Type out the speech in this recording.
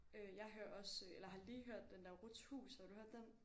Øh jeg hører også eller har lige hørt den der Ruths Hus har du hørt den?